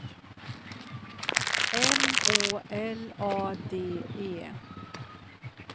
M Å L A D E